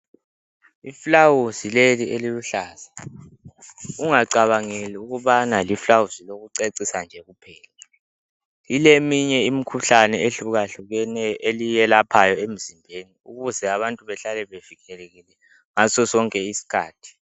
Iflawuzi leli eliluhlaza, ungacabangeli ukubana liflawuzi lokucecisa nje kuphela. Lileminye imikhuhlane ehlukahlukeneyo eliyelaphayo emzimbeni ukuze abantu behlale bevikelekile ngasosonke isikhathi.